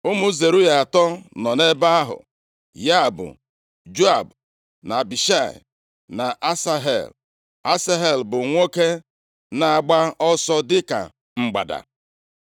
Ụmụ Zeruaya atọ nọ nʼebe ahụ, ya bụ, Joab, na Abishai na Asahel. Asahel bụ nwoke na-agba ọsọ dịka mgbada.